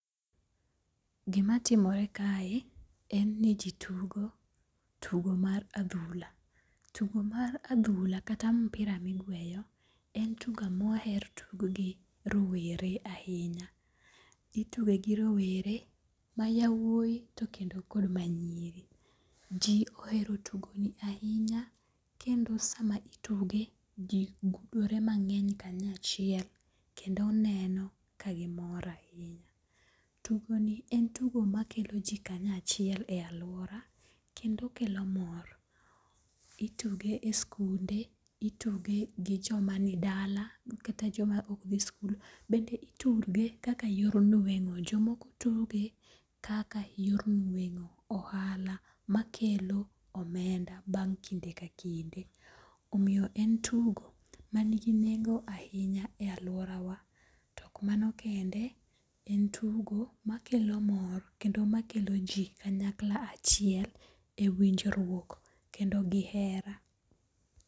Gimatimore kae, en ni ji tugo tugo mar adhula. Tugo mar adhula kata mpira migweyo en tugo moher tugo gi rowere ahinya. Ituge gi rowere ma yawuoyi to kendo kod manyiri. Ji ohero tugo ni ahinya kendo sama ituge, ji gudore mang'eny kanyachiel kendo neno ka gimor ahinya. Tugoni en tugo makelo ji kanyachiel e alwora kendo okelo mor. Ituge e skunde, ituge gi joma ni dala kata joma ok dhi skul. Bende ituge kaka yor nweng'o. Jomoko tuge kaka yor nweng'o. Ohala makelo omenda bang' kinde ka kinde. Omiyo en tugo manigi nengo ahinya e alworawa. To ok mano kende, en tugo makelo mor kendo makelo ji kanyakla achiel e winjruok kendo gi hera.